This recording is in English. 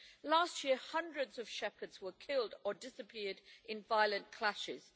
Last year hundreds of shepherds were killed or disappeared in violent clashes.